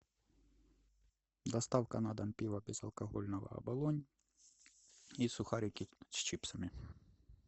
доставка на дом пива безалкогольного оболонь и сухарики с чипсами